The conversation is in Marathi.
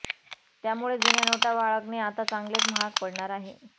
त्यामुळे जुन्या नोटा बाळगणे आता चांगलेच महाग पडणार आहे